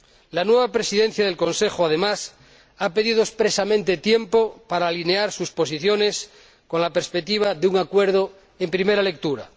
La nueva Presidencia en ejercicio del Consejo, además, ha pedido expresamente tiempo para alinear sus posiciones con la perspectiva de un acuerdo en primera lectura.